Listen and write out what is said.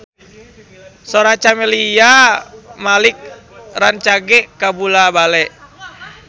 Sora Camelia Malik rancage kabula-bale